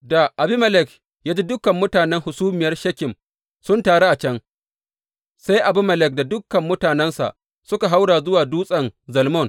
Da Abimelek ya ji dukan mutanen hasumiyar Shekem sun taru a can, sai Abimelek da dukan mutanensa suka haura zuwa Dutsen Zalmon.